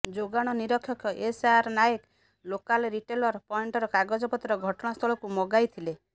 ଯୋଗାଣ ନିରୀକ୍ଷକ SR Nayak local retailer ପଏଣ୍ଟର କାଗଜପତ୍ର ଘଟଣାସ୍ଥଳକୁ ମଗାଇ ଥିଲେ